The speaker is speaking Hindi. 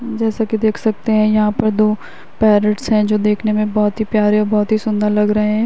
जैसा की देख सकते है यहाँ पर दो पैरटस हैं जो देखने में बोहोत ही प्यारे और बोहोत ही सुन्दर लग रहे हैं।